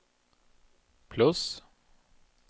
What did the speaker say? plus